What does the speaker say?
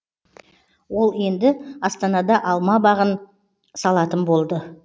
ол енді астанада алма бағын салатын болды